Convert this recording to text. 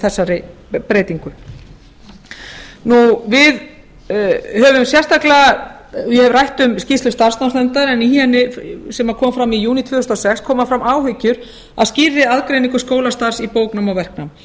þessari breytingu ég hef rætt um skýrslu starfsnámsnefndar sem kom fram í júní tvö þúsund og sex koma fram áhyggjur af skýrri aðgreiningu skólastarfs í bóknám og verknám